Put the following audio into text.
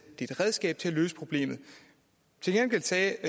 et redskab til at løse problemet til gengæld sagde